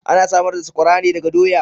Ana samar da saƙwara ne daga doya.